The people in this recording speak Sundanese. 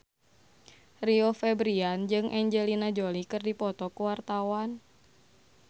Rio Febrian jeung Angelina Jolie keur dipoto ku wartawan